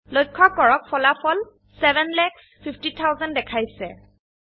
লক্ষ্য কৰক ফলাফল ৭৫০০০০ দেখাইছে